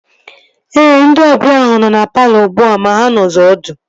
Ee, ndị ọbịa ahu nọ na palọ ugbua ma ha nọzi ọdụ